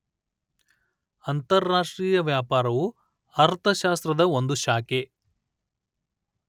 ಅಂತಾರಾಷ್ಟ್ರೀಯ ವ್ಯಾಪಾರವು ಅರ್ಥಶಾಸ್ತ್ರದ ಒಂದು ಶಾಖೆ